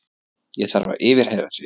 Ég þarf að yfirheyra þig.